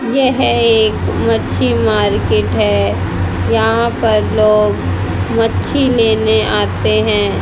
यह एक मच्छी मार्केट है यहां पर लोग मच्छी लेने आते हैं।